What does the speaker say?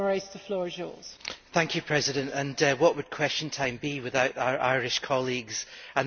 What would Question Time be without our Irish colleagues and their effective and articulate contributions?